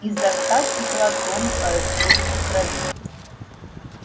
изо рта текла тонкая струйка крови